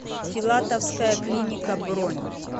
филатовская клиника бронь